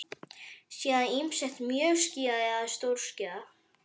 Síðan ýmist mjög skýjað eða stórskýjað.